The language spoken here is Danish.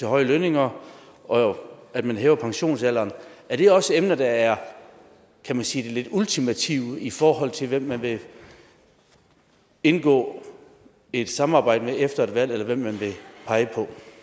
høje lønninger og at man hæver pensionsalderen er det også emner der er kan man sige ultimative i forhold til hvem man vil indgå et samarbejde med efter et valg eller hvem man vil pege